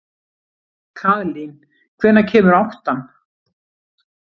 Kaðlín, hvenær kemur áttan?